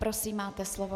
Prosím, máte slovo.